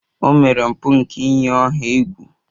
O mere mpụ nke iyi ọha egwu.